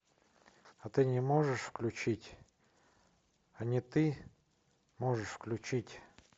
а ты не можешь включить а не ты можешь включить